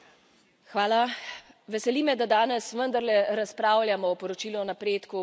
Veseli me, da danes vendarle razpravljamo o poročilu o napredku v Bosni in Hercegovini.